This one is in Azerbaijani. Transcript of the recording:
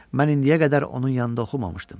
Mən indiyə qədər onun yanında oxumamışdım.